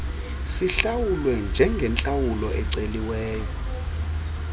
sihlawulwe njengentlawulo eceliweyo